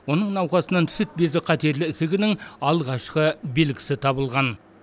оның науқасынан сүт безі қатерлі ісігінің алғашқы белгісі табылған